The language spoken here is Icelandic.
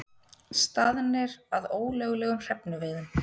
Staðnir að ólöglegum hrefnuveiðum